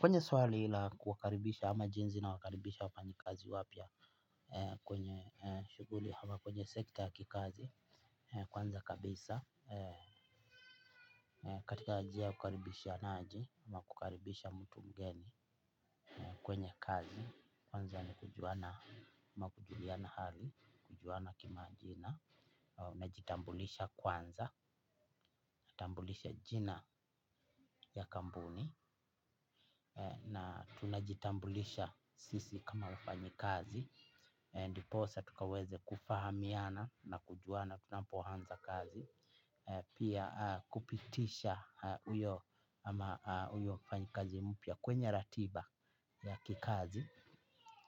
Kwenye swali ila kukaribisha ama jinsi nawakaribisha wafanyakazi wapya kwenye shughuli ama kwenye sekta ya kikazi kwanza kabisa. Katika njia kukaribishaaje ama kukaribisha mtu mgeni kwenye kazi kwanza ni kujuana ama kujuliana hali kujuana kimajina na wakajitambulisha kwanza, na jitambulisha jina ya kampuni na tunajitambulisha sisi kama wafanyakazi ndipo sasa tukaweze kufahamiana na kujuana tunapoanza kazi pia kupitisha uyo mfanyakazi mpya kwenye ratiba ya kikazi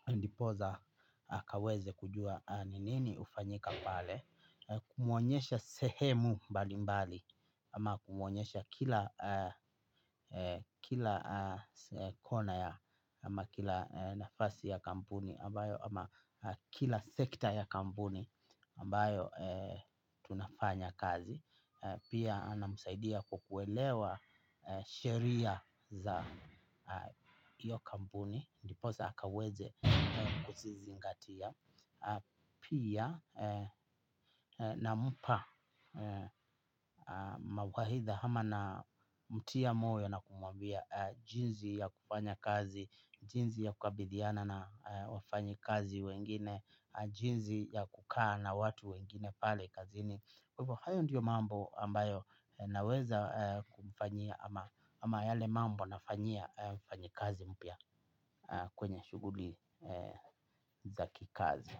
ndipo sasa akaweza kujua, nini hufanyika pale, kumuonesha sehemu mbalimbali ama kumuonyesha kila kona ya ama kila nafasi ya kampuni ama kila sekta ya kampuni ambayo tunafanya kazi pia namsaidia kwa kuelewa sheria za iyo kampuni ndiposa akaweze kuzizingatia. Pia namupa mawaidha ama namtia moyo na kumwambia jinsi ya kufanya kazi jinsi ya kukabidhiana na wafanyakazi wengine. Jinsi ya kukaa na watu wengine pale kazi ni kwa hiyo ndiyo mambo ambayo naweza kufanyia. Ama yale mambo nafanyia mfanyakazi mpya kwenye shughuli za kikazi. Kwa hivyo.